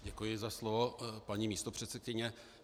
Děkuji za slovo, paní místopředsedkyně.